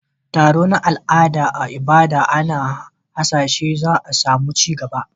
Taro na al'ada a Ibadan ana hasashen za a samu ci gaba